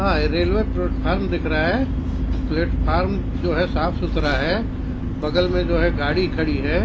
अ railway platform दिख रहा है प्लेटफार्म जो है साफ सुथरा है बगल में जो है गाड़ी खड़ी है।